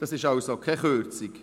Das ist also keine Kürzung.